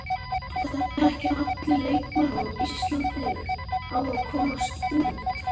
Kristján: Styrkir þetta búsetuna?